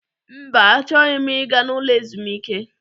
Mba, achọghị m ịga n'ụlọ ezumike.